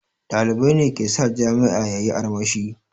Ɗalibai ne ke sa jami'a yayi armashi